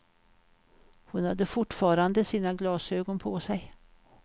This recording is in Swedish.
Hon hade fortfarande sina glasögon på sig.